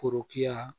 Forokiya